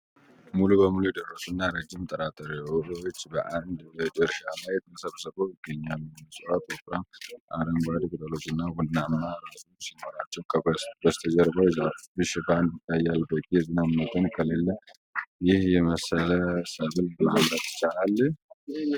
ሙሉ በሙሉ የደረሱና ረጅም ጥራጥሬዎች (sorghum) በአንድ እርሻ ላይ ተሰብስበው ይገኛሉ። እፅዋቱ ወፍራም አረንጓዴ ቅጠሎችና ቡናማ ራሶች ሲኖራቸው፣ በስተጀርባው የዛፍ ሽፋን ይታያል። በቂ የዝናብ መጠን ከሌለ ይህን የመሰለ ሰብል ማምረት ይቻላልን?